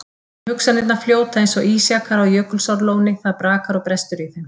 En hugsanirnar fljóta eins og ísjakar á Jökulsárlóni, það brakar og brestur í þeim.